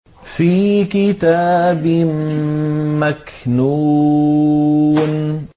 فِي كِتَابٍ مَّكْنُونٍ